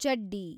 ಚಡ್ಡಿ